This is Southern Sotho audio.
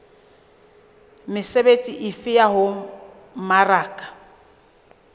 mesebetsi efe ya ho mmaraka